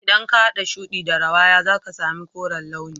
idan ka hada shudi da rawaya zaka sami koren launi